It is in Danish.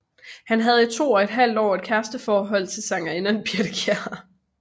Han havde i to og et halvt år et kæresteforhold til sangerinden Birthe Kjær